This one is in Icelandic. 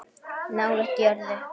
Nálægt jörðu